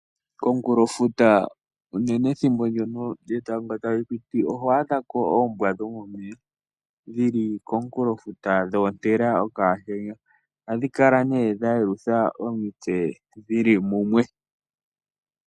Komunkulo futa unene ethimbo ndono lyetango talipiti ohwadhako oombwa dhomomeya dhili kokulofuta dhotela okatenya, ohadhikala ne dhelutha omitse dhili mumwe.